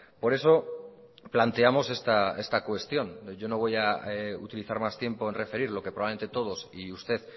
por eso planteamos esta cuestión yo no voy a utilizar más tiempo en referir lo que probablemente todos y usted